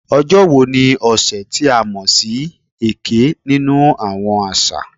"Ojo wo ni ọsẹ ti a mọ si "Eke" ninu awọn aṣa?"